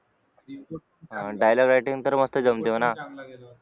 Dialogue writing तर मस्त जमते म्हणा